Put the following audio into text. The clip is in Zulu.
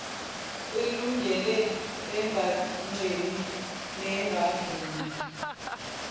elungile engancemi nengavuni